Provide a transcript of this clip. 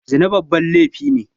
Zina babban laifi ne